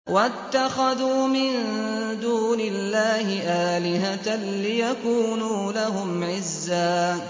وَاتَّخَذُوا مِن دُونِ اللَّهِ آلِهَةً لِّيَكُونُوا لَهُمْ عِزًّا